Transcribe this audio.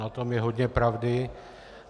Na tom je hodně pravdy.